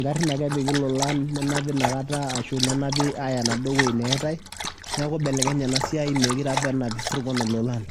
ngarrin ake epiki ilolan ninap inakata arashu nenapi aaya enaduo wueji neyaitai neeku ibelekenye ena siai meekure apa enap isirkon ilolan.